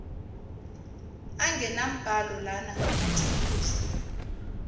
angenambhalo lana ngamathuluzi